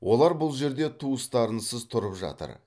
олар бұл жерде туыстарынсыз тұрып жатыр